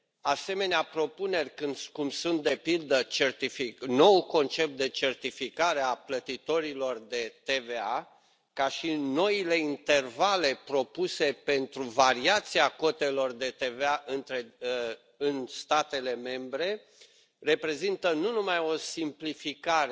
Asemenea propuneri, cum sunt, de pildă, noul concept de certificare a plătitorilor de TVA, ca și noile intervale propuse pentru variația cotelor de TVA în statele membre reprezintă nu numai o simplificare